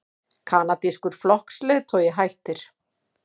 Kanadískur flokksleiðtogi hættir